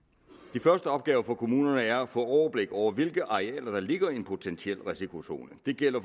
de første opgaver for kommunerne er at få overblik over hvilke arealer der ligger i en potentiel risikozone det gælder